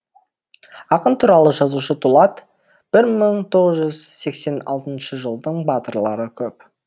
ақын туралы жазушы дулат бір мың тоғыз жүз сексен алтыншы жылдың батырлары көп